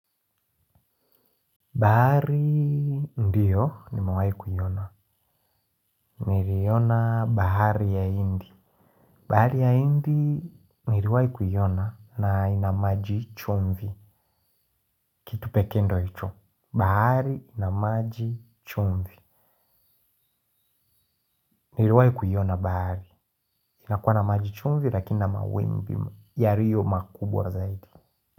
Bahari ndiyo nimewahi kuiona. Niliiona bahari ya hindi. Bahari ya hindi niliwahi kuiona na ina maji chumvi. Tu pekee ndiyo hicho. Bahari ina maji chumvi. Niliwai kuyona bahari. Inakuwa na maji chumvi lakini ina mawimbi yaliyo makubwa zaidi.